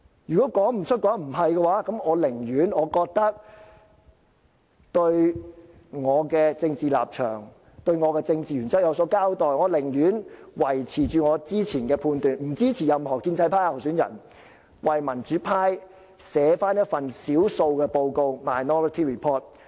如果他說不出或說不是，那我寧願對我的政治立場和政治原則有所交代，我寧願維持我之前的判斷，不支持任何建制派候選人，而為民主派撰寫一份少數報告。